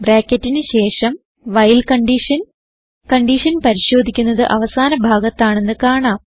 ബ്രാക്കറ്റിന് ശേഷം while condition പരിശോധിക്കുന്നത് അവസാന ഭാഗത്താണെന്ന് കാണാം